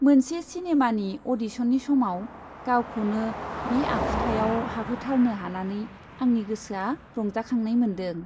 मोनसे सिनेमानि अडिसननि समाव गावखौनो बे आखुथायाव हाबहोथारनो हानानै आंनि गोसोआ रंजाखांनाय मोनदों।